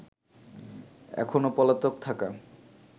এখনো পলাতক থাকা